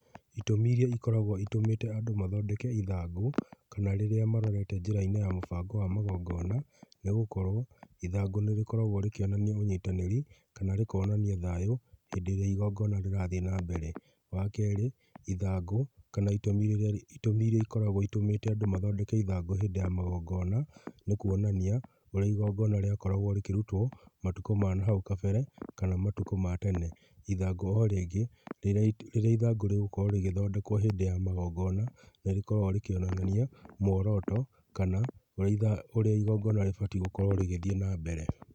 Itũmi iria ikoragwo itũmĩte andũ mathondeke ithangũ kana rĩrĩa marorete njĩra-inĩ ya mũbango wa magongona, nĩ gũkorwo ithangũ nĩ rĩkoragwo rĩkĩonania ũnyitanĩri, kana rĩkonania thayũ hĩndĩ ĩrĩa igongona rĩrathiĩ na mbere. Wa kerĩ ithangũ kana itũmi iria ikoragwo itũmĩte andũ mathondeke ithangũ hĩndĩ ya magongona, nĩ kuonania ũrĩa igongona rĩakoragwo rĩkĩrutwo matukũ ma nahau kabere kana matukũ ma tene. Ithangũ o rĩngĩ, rĩrĩa ithangũ rĩgũkorwo rĩgĩthondekwo hĩndĩ ya magongona, nĩ rĩkoragwo rĩkĩonania muoroto kana ũrĩa igongona rĩbatiĩ gũkorwo rĩgĩthiĩ na mbere.